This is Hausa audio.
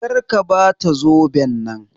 Kar ka Bata zoben nan.